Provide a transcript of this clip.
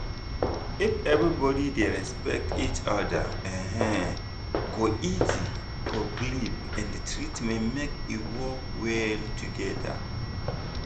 if everybody dey respect each other e um go easy for belief and treatment make e work well together.